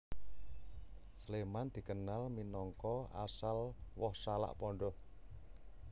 Sléman dikenal minangka asal woh salak pondoh